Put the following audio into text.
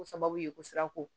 Ko sababu ye ko siranko